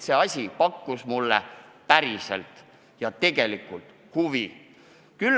See teema pakkus mulle päriselt ja tegelikult huvi.